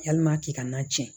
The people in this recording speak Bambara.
Yalima k'i ka na tiɲɛ